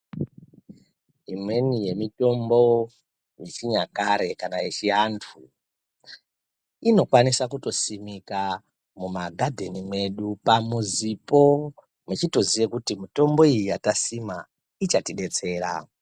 Imweni yemitombo yechinyakare kana k yechiantu inokwanisa kutosimika mumagadheni mwedu pamuzipo mechitoziya kuti mitombo iyi yatasima ichatidetsera.